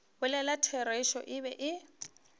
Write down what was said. bolela therešo e be e